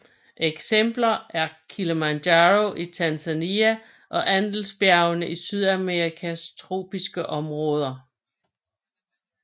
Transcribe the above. Eksempler er Kilimanjaro i Tanzania og Andesbjergene i Sydamerikas tropiske område